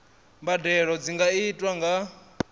mbadelo dzi nga itwa nga